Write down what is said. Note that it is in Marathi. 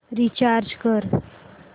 रीचार्ज कर